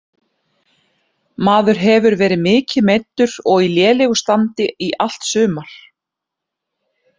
Maður hefur verið mikið meiddur og í lélegu standi í allt sumar.